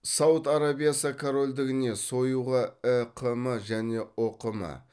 сауд арабиясы корольдігіне союға іқм және ұқм